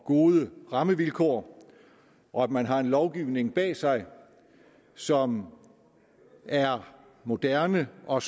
gode rammevilkår og at man har en lovgivning bag sig som er moderne og